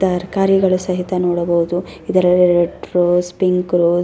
ತರಕಾರಿಗಳು ಸಹಿತ ನೋಡಬಹುದು ಇದರ ರೆಡ್ ರೋಜ್ ಪಿಂಕ್ ರೋಜ್ .